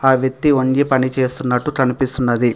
ఆ వ్యక్తి వంగి పని చేస్తున్నట్టు కనిపిస్తున్నది.